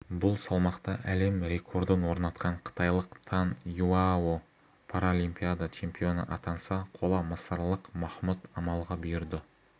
бұл салмақта әлем рекордын орнатқан қытайлық тан юяо паралимпиада чемпионы атанса қола мысырлық махмұд амалға бұйырды